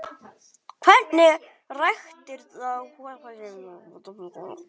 Hvernig ræktar þú hugann?